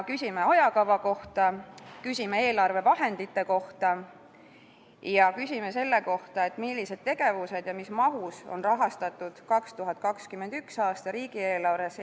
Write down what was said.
Küsime ajakava, eelarvevahendite ja selle kohta, millised tegevused eestikeelse hariduse arendamisel alates alusharidusest ja millises mahus on rahastatud 2021. aasta riigieelarves.